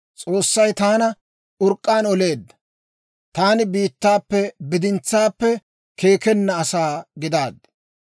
S'oossay taana urk'k'aan oleedda; taani biittaappe bidintsaappe keekkenna asaa gidaaddi.